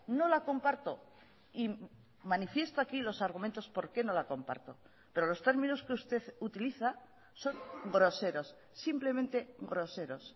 no la comparto y manifiesto aquí los argumentos por qué no la comparto pero los términos que usted utiliza son groseros simplemente groseros